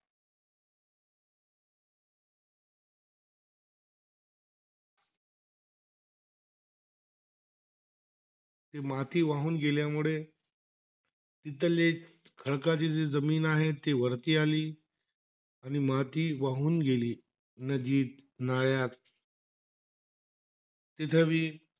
माती वाहून गेल्यामुळे, तिथले खडकाचे जे जमीन आहे ती वरती आली. आणि माती वाहून गेली नदीत, नाळ्यात. तिथे बी,